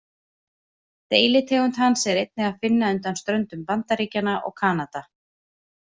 Deilitegund hans er einnig að finna undan ströndum Bandaríkjanna og Kanada.